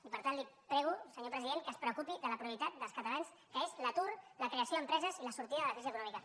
i per tant li prego senyor president que es preocupi de la prioritat dels catalans que és l’atur la creació d’empreses i la sortida de la crisi econòmica